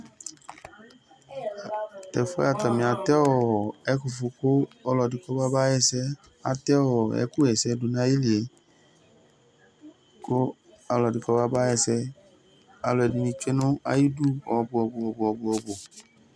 Tu ɛfʋ yɛ atani atɛ ɛkʋfʋ kʋ ɔlɔdɩ kɔbaba ɣɛsɛ Atɛ ɛkʋɣɛsɛ du nʋ ayili yɛ, kʋ ɔlɔdɩ kɔbaba ɣɛsɛ Alu ɛdɩnɩ zǝti nʋ ayidu ɔbʋɔbʋɔbʋɔbʋ